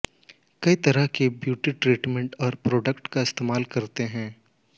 कई तरह के ब्यूटी ट्रीटमेंट्स और प्रोडक्ट्स का इस्तेमाल करते हैं